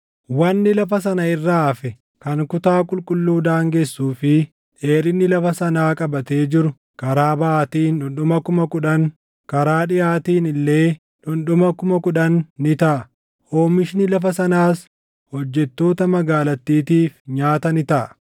Wanni lafa sana irraa hafe kan kutaa qulqulluu daangessuu fi dheerina lafa sanaa qabatee jiru karaa baʼaatiin dhundhuma 10,000, karaa dhiʼaatiin illee dhundhuma 10,000 ni taʼa. Oomishni lafa sanaas hojjettoota magaalattiitiif nyaata ni taʼa.